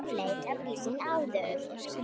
Hún leit öðruvísi út en áður.